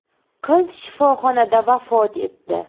Qiz shifoxonada vafot etdi.